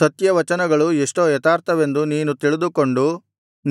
ಸತ್ಯವಚನಗಳು ಎಷ್ಟೋ ಯಥಾರ್ಥವೆಂದು ನೀನು ತಿಳಿದುಕೊಂಡು